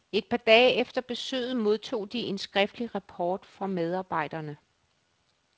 Et par dage efter besøget modtog de en skriftlig rapport fra medarbejderne.